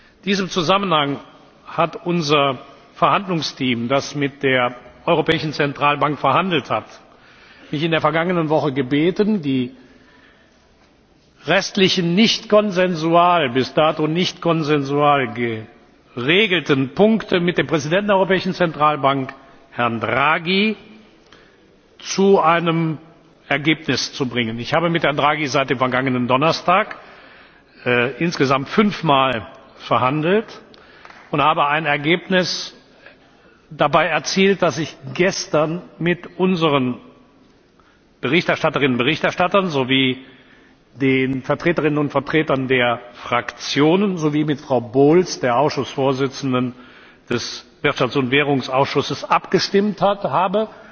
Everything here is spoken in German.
In diesem Zusammenhang hat mich unser Verhandlungsteam, das mit der Europäischen Zentralbank verhandelt hat, in der vergangenen Woche gebeten, die restlichen bis dato nicht konsensual geregelten Punkte mit dem Präsidenten der Europäischen Zentralbank, Herrn Draghi, zu einem Ergebnis zu bringen. Ich habe mit Herrn Draghi seit dem vergangenen Donnerstag insgesamt fünf Mal verhandelt und habe dabei ein Ergebnis erzielt, das ich gestern mit unseren Berichterstatterinnen und Berichterstattern sowie den Vertreterinnen und Vertretern der Fraktionen sowie mit Frau Bowles, der Vorsitzenden des Wirtschafts und Währungsausschusses, abgestimmt habe